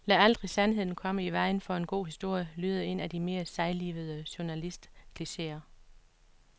Lad aldrig sandheden komme i vejen for en god historie, lyder en af de mere sejlivede journalistklicheer.